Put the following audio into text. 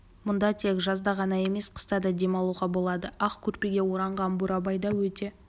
мұнда тек жазда ғана емес қыста да демалуға болады ақ көрпеге оранған бурабай да өте